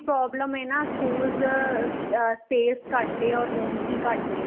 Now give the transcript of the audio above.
problem ਏ ਨਾ schools ਅਹ space ਘੱਟ ਏ or rooms ਵੀ ਘੱਟ ਨੇ